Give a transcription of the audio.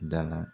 Da la